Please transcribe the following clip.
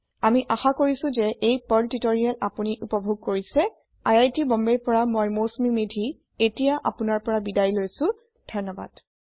আমি আশা কৰিছো যে এই পাৰ্ল টিউটৰিয়েল আপোনি উপভোগ কৰিছে আই আই টী বম্বে ৰ পৰা মই মৌচুমী মেধী এতিয়া আপুনাৰ পৰা বিদায় লৈছো যোগদানৰ বাবে ধন্যবাদ